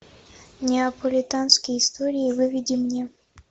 неаполитанские истории выведи мне